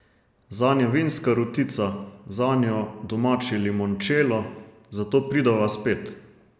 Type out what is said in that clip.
Zanj je vinska rutica, zanjo domači limončelo, zato prideva spet!